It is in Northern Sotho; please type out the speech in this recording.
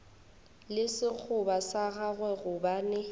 le sekgoba sa gagwe gobane